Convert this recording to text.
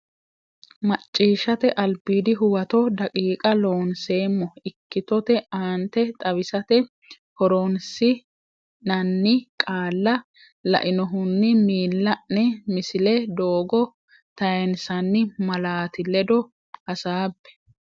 Macciishshate Albiidi Huwato daqiiqa Loonseemmo ikkitote aante xawisate horoonsi nanni qaalla lainohunni miilla ne Misile Doogo tayinsanni malaati ledo hasaabbe.